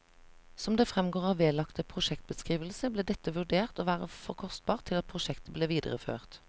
Som det fremgår av vedlagte prosjektbeskrivelse, ble dette vurdert å være for kostbart til at prosjektet ble videreført.